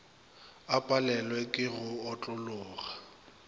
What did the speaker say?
a palelwe ke go otlologa